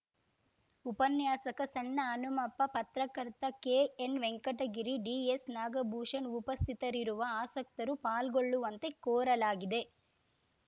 ಉಪನ್ಯಾಸಕ ಸಣ್ಣಹನುಮಪ್ಪ ಪತ್ರಕರ್ತ ಕೆಎನ್‌ವೆಂಕಟಗಿರಿ ಡಿಎಸ್‌ನಾಗಭೂಷಣ್‌ ಉಪಸ್ಥಿತರಿರುವ ಆಸಕ್ತರು ಪಾಲ್ಗೊಳ್ಳುವಂತೆ ಕೋರಲಾಗಿದೆ